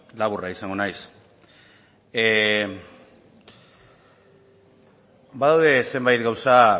laburra izango naiz badaude zenbait gauza